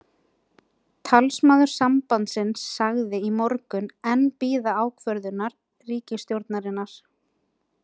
Talsmaður sambandsins sagðist í morgun enn bíða ákvörðunar ríkisstjórnarinnar.